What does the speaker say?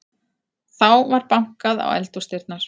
Þá var bankað á eldhúsdyrnar.